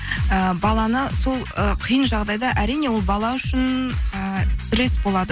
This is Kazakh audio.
і баланы сол ы қиын жағдайда әрине ол бала үшін і стресс болады